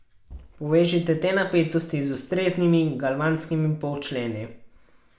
Povežite te napetosti z ustreznim galvanskimi polčleni.